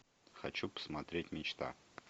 хочу посмотреть мечта